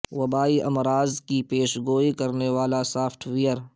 وبائی امراض کی پیش گوئی کرنے والا سافٹ ویئر